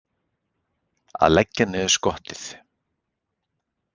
Að leggja niður skottið